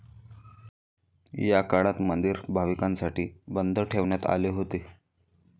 या काळात मंदिर भाविकांसाठी बंद ठेवण्यात आले होते.